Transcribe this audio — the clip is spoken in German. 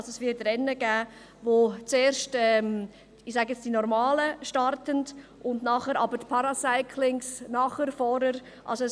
Also: Es wird Rennen geben, wo zuerst die «Normalen» starten und nachher aber die Paracyclings – nachher oder vorher.